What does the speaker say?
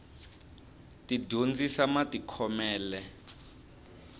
ti dyondzisa matikhomele